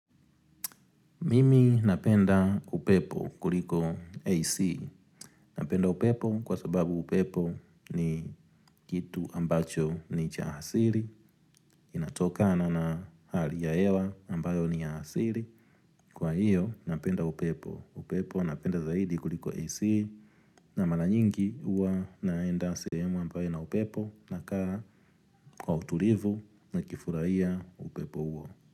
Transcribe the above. Mimi napenda upepo kuliko AC, napenda upepo kwa sababu upepo ni kitu ambacho ni cha asili, inatokana na hali ya hewa ambayo ni ya asili, kwa hiyo napenda upepo, upepo napenda zaidi kuliko AC na mara nyingi huwa naenda sehemu ambayo ina upepo na kaa kwa utulivu ni kifurahia upepo huo.